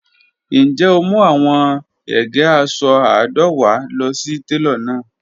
Njẹ o mu awọn ege aṣọ àádọ́wá lọ si telo lana?